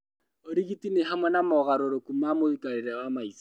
Ũrigiti nĩ hamwe na mogarũrũku ma mũikarĩre wa maica